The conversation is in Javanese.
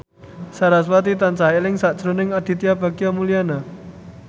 sarasvati tansah eling sakjroning Aditya Bagja Mulyana